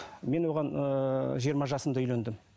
мен оған ыыы жиырма жасымда үйлендім